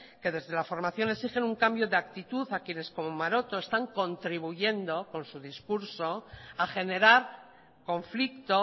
que desde la formación exigen un cambio de actitud a quienes como maroto están contribuyendo con su discurso a generar conflicto